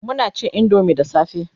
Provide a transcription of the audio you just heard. Muna cin indomie da safe